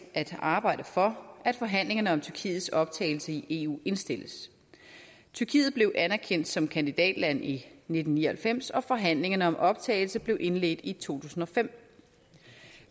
at arbejde for at forhandlingerne om tyrkiets optagelse i eu indstilles tyrkiet blev anerkendt som kandidatland i nitten ni og halvfems og forhandlingerne om optagelse blev indledt i to tusind og fem